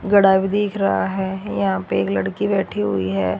घड़ा भी दिख रहा है यहां पे एक लड़की बैठी हुई है।